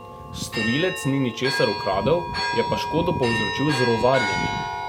Storilec ni ničesar ukradel, je pa škodo povzročil z rovarjenjem.